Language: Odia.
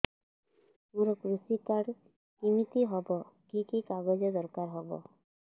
ମୋର କୃଷି କାର୍ଡ କିମିତି ହବ କି କି କାଗଜ ଦରକାର ହବ